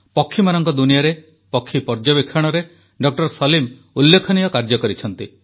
ପକ୍ଷୀମାନଙ୍କ ଦୁନିଆରେ ପକ୍ଷୀ ପର୍ଯ୍ୟବେକ୍ଷଣରେ ଡାକ୍ତର ସଲିମ ଉଲ୍ଲେଖନୀୟ କାର୍ଯ୍ୟ କରିଛନ୍ତି